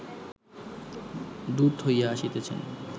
দূত হইয়া আসিতেছেন